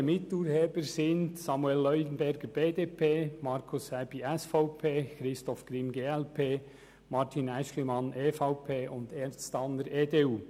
Weitere Miturheber sind Samuel Leuenberger, BDP, Markus Aebi, SVP, Christoph Grimm, glp, Martin Aeschlimann, EVP, und Ernst Tanner, EDU.